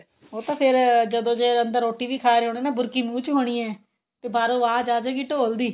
ਉਹ ਤਾਂ ਫੇਰ ਜਦੋਂ ਜੇ ਅੰਦਰ ਰੋਟੀ ਵੀ ਖਾ ਰਹੇ ਹੋਣੇ ਬੁਰਕੀ ਮੂੰਹ ਚ ਹੋਣੀ ਏ ਤੇ ਬਾਹਰੋ ਆਵਾਜ਼ ਆ ਜਾਵੇ ਢੋਲ ਦੀ